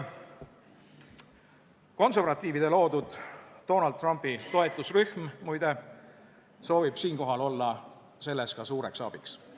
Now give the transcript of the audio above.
Konservatiivide loodud Donald Trumpi toetusrühm, muide, soovib siinkohal olla suureks abiks.